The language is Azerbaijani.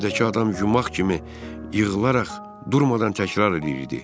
Yerdəki adam yumaq kimi yığılaraq durmadan təkrar eləyirdi.